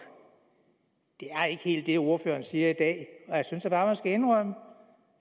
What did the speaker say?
det er ikke helt det ordføreren siger i dag jeg synes da bare man skal indrømme